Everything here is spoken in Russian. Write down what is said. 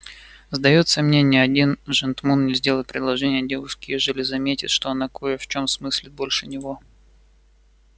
сдаётся мне ни один жентмун не сделает предложения девушке ежели заметит что она кое в чём смыслит больше него